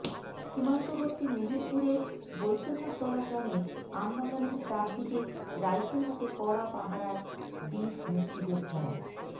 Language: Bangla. সীমান্তবর্তী মেহেরপুরের বৈদ্যনাথতলা গ্রামের আমবাগানের চারদিকে রাইফেল হাতে কড়া পাহারায় বীর মুক্তিযোদ্ধারা